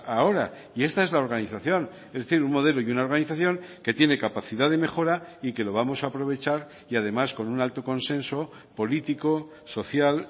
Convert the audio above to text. ahora y esta es la organización es decir un modelo y una organización que tiene capacidad de mejora y que lo vamos a aprovechar y además con un alto consenso político social